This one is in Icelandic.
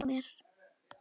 Hann vildi hjálpa mér.